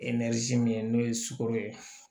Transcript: min ye sugoro ye